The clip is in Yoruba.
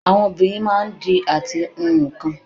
Àwọn obìnrin máa ń di àti hun nkan